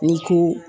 Ni ko